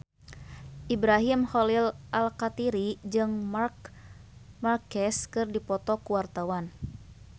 Ibrahim Khalil Alkatiri jeung Marc Marquez keur dipoto ku wartawan